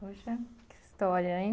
Puxa, que história, hein?